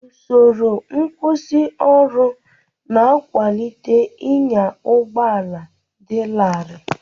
Usoro nkwusioru na-akwalite ịnya ụgbọ ala dị larịị.